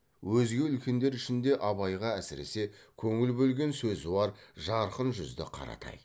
өзге үлкендер ішінде абайға әсіресе көңіл бөлген сөзуар жарқын жүзді қаратай